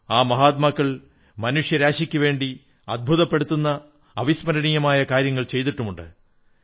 ആ മഹാത്മാക്കൾ മനുഷ്യരാശിയ്ക്കുവേണ്ടി അത്ഭുതപ്പെടുത്തുന്ന അവിസ്മരണീയമായ കാര്യങ്ങൾ ചെയ്തിട്ടുണ്ട്